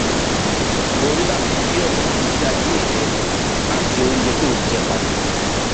o ní láti yí ọnà ìgbésí ayé rẹ àti oúnjẹ tó ò ń jẹ padà